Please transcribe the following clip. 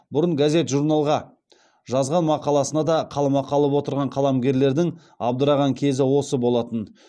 бұрын газет журналға жазған мақаласына да қаламақы алып отырған қаламгерлердің абдыраған кезі осы болатын